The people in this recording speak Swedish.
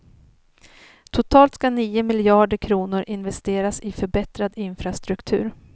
Totalt ska nio miljarder kronor investeras i förbättrad infrastruktur.